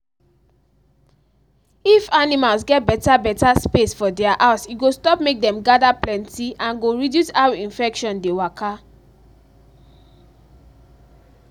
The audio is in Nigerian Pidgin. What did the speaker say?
if animals get better better space for thier house e go stop make dem gather plenty and go reduce how infection dey waka